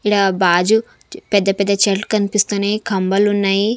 ఈడ బాజు పెద్ద పెద్ద చెట్లు కనిపిస్తున్నయి కంబలున్నయి.